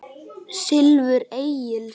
Silfur Egils